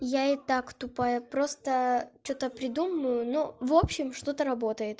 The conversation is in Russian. я и так тупая просто что-то придумаю ну в общем что-то работает